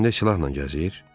Atan cibində silahla gəzir?